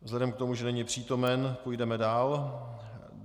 Vzhledem k tomu, že není přítomen, půjdeme dál.